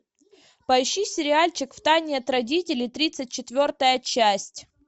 поищи сериальчик в тайне от родителей тридцать четвертая часть